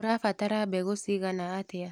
ũrabatara mbegũ cigana atia.